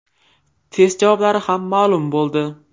Test javoblari ham ma’lum bo‘ldi.